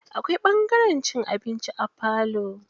Akwai ɓangaren cin abinci a falo.